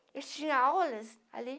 Eles tinham aulas ali.